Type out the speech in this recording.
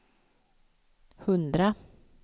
hundra